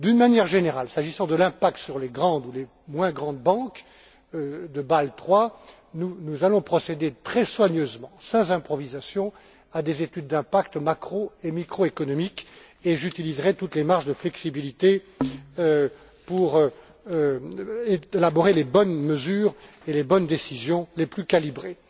D'une manière générale, s'agissant de l'impact sur les grandes ou les moins grandes banques de Bâle III, nous allons procéder très soigneusement, sans improvisation, à des études d'impact macro et microéconomiques et j'utiliserai toutes les marges de flexibilité pour élaborer les bonnes mesures et les bonnes décisions, les plus calibrées.